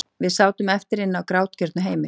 Við sátum eftir- inni á grátgjörnu heimili.